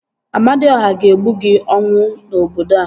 Amadiọha ga-egbu gị ọnwụ n'obodo a